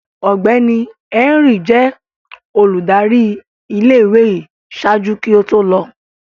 Ọgbẹni Henry jẹ óludari ìlé-ìwé yii ṣaaju ki o to lọ